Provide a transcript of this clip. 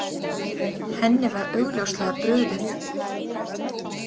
Henni var augljóslega brugðið.